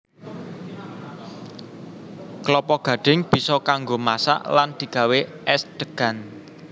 Klapa gadhing bisa kanggo masak lan digawé és degan